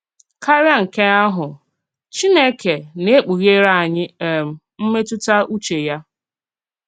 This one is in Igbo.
Kárià nke ahụ, Chínèkè na-èkpùghèrè ányì um m̀mètùtà ùchè ya.